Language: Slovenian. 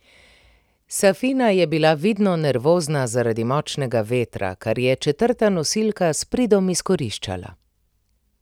Safina je bila vidno nervozna zaradi močnega vetra, kar je četrta nosilka s pridom izkoriščala.